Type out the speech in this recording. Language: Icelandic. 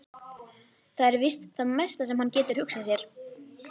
Það er víst það mesta sem hann getur hugsað sér.